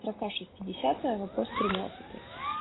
строка шестидесятая вопрос тринадцатый